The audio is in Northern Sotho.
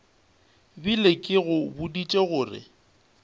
bile ke go boditše gore